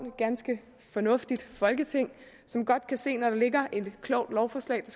et ganske fornuftigt folketing som godt kan se når der ligger et klogt lovforslag der